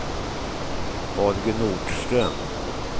Holger Nordström